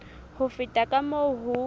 ho feta ka moo ho